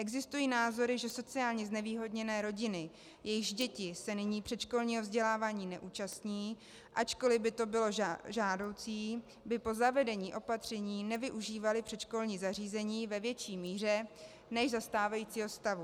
Existují názory, že sociálně znevýhodněné rodiny, jejichž děti se nyní předškolního vzdělávání neúčastní, ačkoliv by to bylo žádoucí, by po zavedení opatření nevyužívaly předškolní zařízení ve větší míře než za stávajícího stavu.